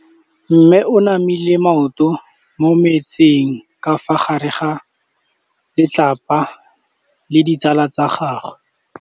Mme o namile maoto mo mmetseng ka fa gare ga lelapa le ditsala tsa gagwe.